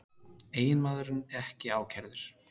Eiginmaðurinn ekki ákærður